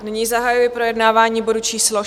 Nyní zahajuji projednávání bodu číslo